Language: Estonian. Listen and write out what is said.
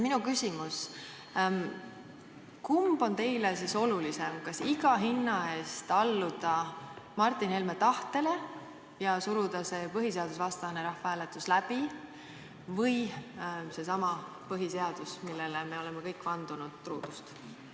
Minu küsimus: kumb on teile olulisem, kas iga hinna eest alluda Martin Helme tahtele ja suruda see põhiseadusvastane rahvahääletus läbi või seesama põhiseadus, millele me oleme kõik vandunud truudust?